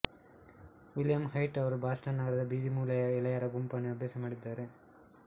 William White ಅವರು Boston ನಗರದ ಬೀದಿ ಮೂಲೆಯ ಎಳೆಯರ ಗುಂಪನ್ನು ಅಭ್ಯಾಸ ಮಾಡಿದ್ದಾರೆ